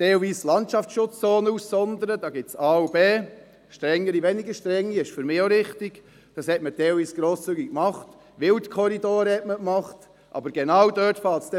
Das Gelände wird oft rasch eingezont, denn es handelt sich ja dabei um wichtige Geldquellen.